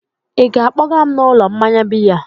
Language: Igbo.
ị ga-akpọga m n'ụlọ mmanya biya?